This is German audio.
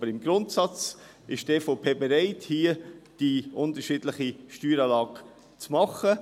Aber im Grundsatz ist die EVP bereit, hier die unterschiedliche Steueranlage zu machen.